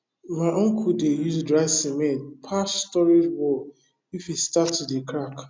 my uncle dey use dry cement patch storage wall if e start to dey crack